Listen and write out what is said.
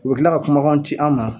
U bi kila ka kuma ci an ma